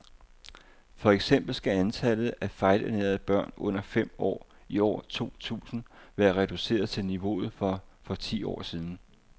For eksempel skal antallet af fejlernærede børn under fem år i år to tusind være reduceret til niveauet for for ti år siden.